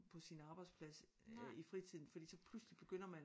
På sin arbejdsplads i fritiden fordi så pludselig begynder man